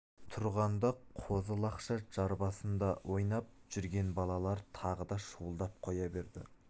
тұрғанда қозы-лақша жар басында ойнап жүрген балалар тағы да шуылдап қоя берді